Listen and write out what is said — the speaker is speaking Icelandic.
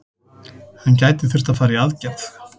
Hann gæti þurft að fara í aðgerð.